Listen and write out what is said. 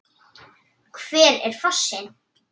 Hver er fossinn?